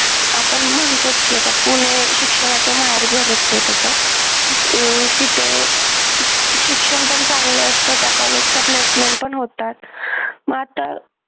आपण म्हणतो की म्हणजे पुणे हे शिक्षणाचं माहेरघरच आहे तसं अं तिथे शिक्षण पण चांगलं असतं त्या कॉलेजच्या placement पण होतात मग आता